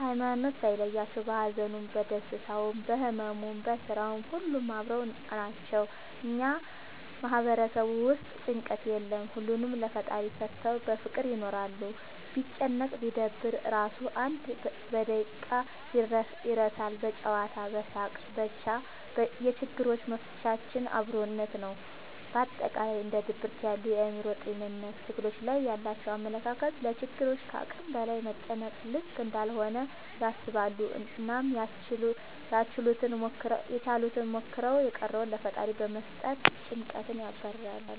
ሀይማኖት ሳይለያቸው በሀዘኑም በደስታውም በህመሙም በስራውም ሁሌም አብረው ናቸው። እኛ ማህበረሰብ ውስጥ ጭንቀት የለም ሁሉንም ለፈጣሪ ሰተው በፍቅር ይኖራሉ። ቢጨነቅ ቢደበር እራሱ አንድ በደቂቃ ይረሳል በጨዋታ በሳቅ በቻ የችግሮች መፍቻችን አብሮነት ነው። በአጠቃላይ እንደ ድብርት ያሉ የአእምሮ ጤንነት ትግሎች ላይ ያላቸው አመለካከት ለችግሮች ከአቅም በላይ መጨነቅ ልክ እንዳልሆነ ያስባሉ አናም ያችሉትን ሞክረው የቀረውን ለፈጣሪ በመስጠት ጨንቀትን ያባርራሉ።